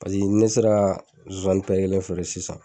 Paseke ni ne sera zozani kelen feere sisan